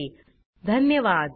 सहभागासाठी धन्यवाद